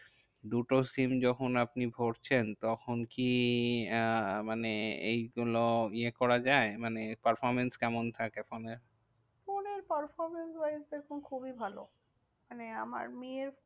দুটো SIM যখন আপনি ভরছেন তখন কি আহ মানে এইগুলো ইয়ে করা যায়? মানে performance কেমন থাকে ফোনের? ফোনের performance wise দেখুন খুবই ভালো। মানে আমার মেয়ের